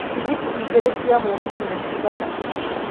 tigiti igĩrĩ cia mũgithi nĩ cigana